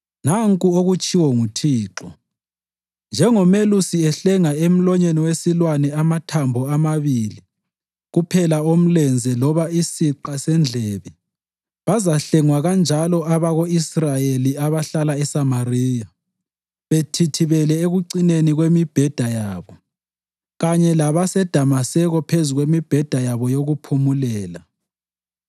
Nanku okutshiwo nguThixo: “Njengomelusi ehlenga emlonyeni wesilwane amathambo amabili kuphela omlenze loba isiqa sendlebe, bazahlengwa kanjalo abako-Israyeli abahlala eSamariya bethithibele ekucineni kwemibheda yabo, kanye laseDamaseko phezu kwemibheda yabo yokuphumulela.”